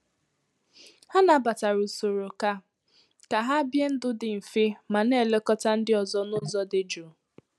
Ha nabatara usoro ka ka hà bie ndụ dị mfe ma na-elekọta ndị ọzọ n’ụzọ dị jụụ